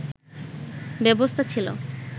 ব্যবস্থা ছিল